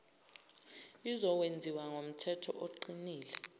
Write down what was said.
izokwenziwa ngomthetho oqinile